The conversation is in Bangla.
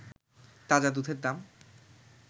তাজা দুধের দাম